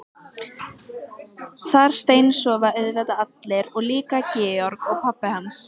Þar steinsofa auðvitað allir og líka Georg og pabbi hans.